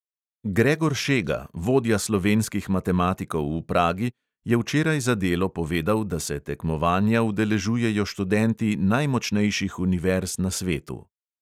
Gregor šega, vodja slovenskih matematikov v pragi, je včeraj za delo povedal, da se tekmovanja udeležujejo študenti najmočnejših univerz na svetu.